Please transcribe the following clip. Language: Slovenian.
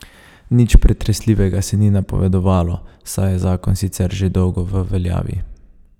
Nič pretresljivega se ni napovedovalo, saj je zakon sicer že dolgo v veljavi.